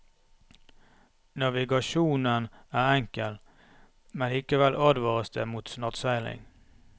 Navigasjonen er enkel, men likevel advares det mot nattseiling.